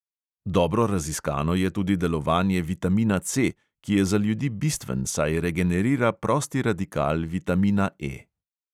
Dobro raziskano je tudi delovanje vitamina C, ki je za ljudi bistven, saj regenerira prosti radikal vitamina E.